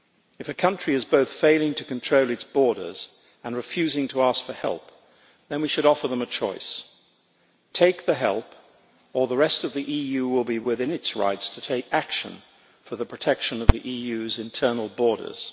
If a country is both failing to control its borders and refusing to ask for help, then we should offer them a choice take the help or the rest of the EU will be within its rights to take action for the protection of the EU's internal borders.